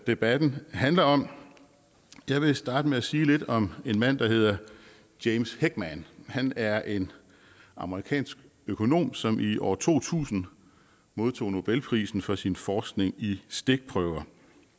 debatten handler om jeg vil starte med at sige lidt om en mand der hedder james heckman han er en amerikansk økonom som i år to tusind modtog nobelprisen for sin forskning i stikprøver